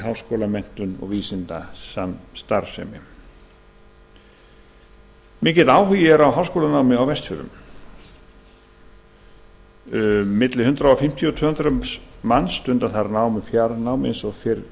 háskólamenntun og vísindastarfsemi mikill áhugi er á háskólanámi á vestfjörðum milli hundrað fimmtíu og tvö hundruð manns stunda þar nám í fjarnámi eins og fyrr